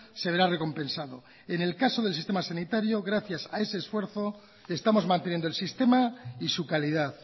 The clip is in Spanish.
se verá recompensado en el caso del sistema sanitario gracias a ese esfuerzo estamos manteniendo el sistema y su calidad